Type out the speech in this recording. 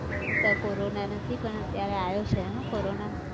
અત્યારે corona નથી પણ અત્યારે આયો છે હો corona